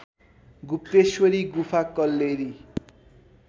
गुप्तेश्वरी गुफा कल्लेरी